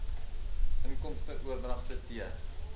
inkomste oordragte t